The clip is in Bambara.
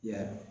Yarɔ